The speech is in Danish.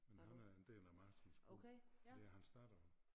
Men han er en del af Marskens Guld det er hans datter og